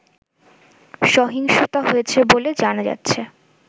সহিংসতা হয়েছে বলে জানা যাচ্ছে